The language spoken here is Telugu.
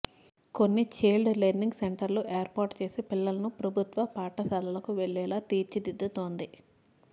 కొన్ని ఛైల్డ్ లెర్నింగ్ సెంటర్లు ఏర్పాటు చేసి పిల్లలను ప్రభుత్వ పాఠశాలలకు వెళ్లేలా తీర్చిదిద్దుతోంది